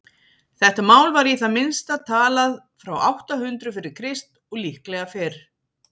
þetta mál var í það minnsta talað frá átta hundruð fyrir krist og líklega fyrr